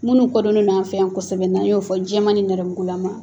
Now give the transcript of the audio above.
Minnu kodonnen non an fɛ yan kosɛbɛ n 'an y'o fɔ jɛman ni nɛrɛmugula ma.